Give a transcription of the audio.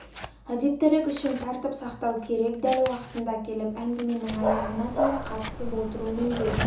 әдептілік үшін тәртіп сақтау керек дәл уақытында келіп әңгіменің аяғына дейін қатысып отыру міндет